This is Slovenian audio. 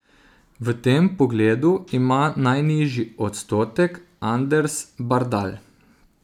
V tem pogledu ima najnižji odstotek Anders Bardal.